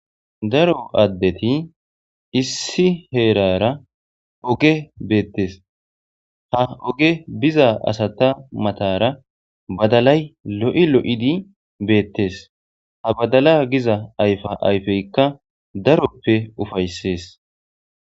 daro addeti issi heerara oge beettes, ha oge biza asata matara badalay lo'i lo'idi beettes, ha badala giza ayfa ayfeykka daroppe ufayssees